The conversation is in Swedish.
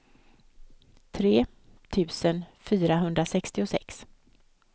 tre tusen fyrahundrasextiosex